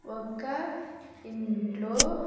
ఒక ఇంట్లో.